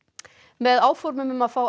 með áformum um að fá